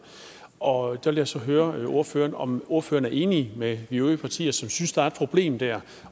og der vil jeg så høre ordføreren om ordføreren er enig med vi øvrige partier som synes der er et problem der